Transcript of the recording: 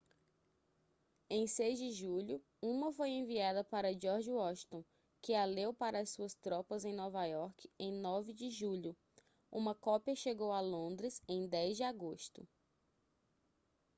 em 6 de julho uma foi enviada para george washington que a leu para as suas tropas em nova iorque em 9 de julho uma cópia chegou a londres em 10 de agosto